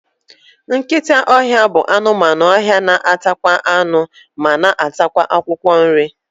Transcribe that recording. Nkịta ọhịa bụ anụmanụ ọhịa na atakwa anụ, ma na atakwa akwụkwọ nri